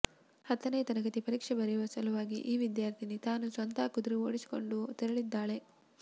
ಹತ್ತನೇ ತರಗತಿ ಪರೀಕ್ಷೆ ಬರೆಯುವ ಸಲುವಾಗಿ ಈ ವಿದ್ಯಾರ್ಥಿನಿ ತಾನು ಸ್ವತಃ ಕುದುರೆ ಓಡಿಸಿಕೊಂಡು ತೆರಳಿದ್ದಾಳೆ